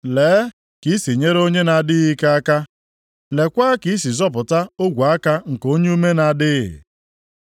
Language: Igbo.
“Lee ka i si nyere onye na-adịghị ike aka! Leekwa ka i si zọpụta ogwe aka nke onye ume na-adịghị!